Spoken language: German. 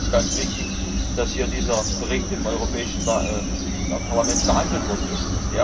Deshalb ist es ganz wichtig, dass dieser Bericht im Europäischen Parlament behandelt worden ist.